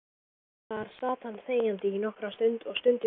Þar sat hann þegjandi nokkra stund og stundi þungan.